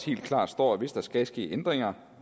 helt klart står hvis der skal ske ændringer